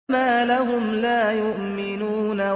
فَمَا لَهُمْ لَا يُؤْمِنُونَ